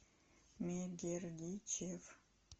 мегердичев